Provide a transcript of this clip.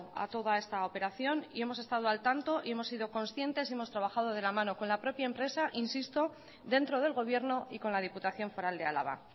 a toda esta operación y hemos estado al tanto y hemos sido conscientes hemos trabajado de la mano con la propia empresa insisto dentro del gobierno y con la diputación foral de álava